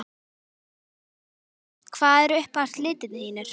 Magnús Hlynur Hreiðarsson: Hvað eru uppáhalds litirnir þínir?